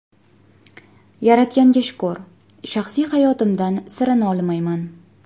Yaratganga shukr, shaxsiy hayotimdan sira nolimayman.